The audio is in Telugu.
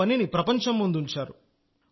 మన పనిని ప్రపంచం ముందుంచారు